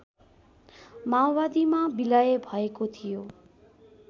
माओवादीमा बिलय भएको थियो